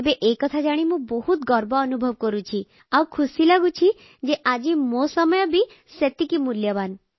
ଏବେ ଏକଥା ଜାଣି ମୁଁ ବହୁତ ଗର୍ବ ଅନୁଭବ କରୁଛି ଆଉ ଖୁସି ଲାଗୁଛି ଯେ ଆଜି ମୋ ସମୟ ବି ସେତିକି ମୂଲ୍ୟବାନ